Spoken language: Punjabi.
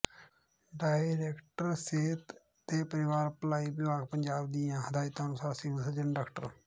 ਡਾਇਰੈਕਟਰ ਸਿਹਤ ਤੇ ਪਰਿਵਾਰ ਭਲਾਈ ਵਿਭਾਗ ਪੰਜਾਬ ਦੀਆਂ ਹਦਾਇਤਾਂ ਅਨੁਸਾਰ ਸਿਵਲ ਸਰਜਨ ਡਾ